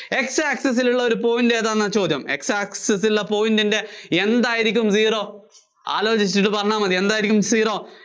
X access ലുള്ള ഒരു point ഏതാന്നാ ചോദ്യം. X access ലുള്ള point ന്‍റെ എന്തായിരിക്കും zero? ആലോചിച്ചിട്ട് പറഞ്ഞാല്‍ മതി. എന്തായിരിക്കും Zero